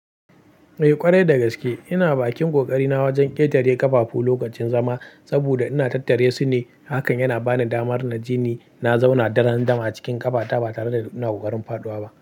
Eh ƙwarai dagaske ina bakin ƙoƙari na wajen ƙetare ƙafafu lokacin zama saboda ina tattare su ne, hakan yana bani damar na jini na zauna daran dam a cikin ƙafata ba tare da ina ƙoƙarin faɗuwa ba.